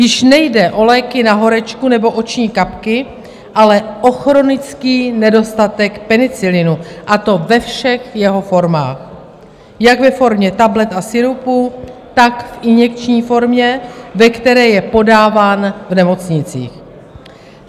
Již nejde o léky na horečku nebo oční kapky, ale o chronický nedostatek penicilinu, a to ve všech jeho formách, jak ve formě tablet a sirupů, tak v injekční formě, ve které je podáván v nemocnicích.